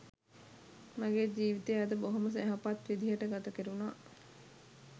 මගේ ජීවිතය අද බොහොම යහපත් විදිහට ගත කෙරුණා.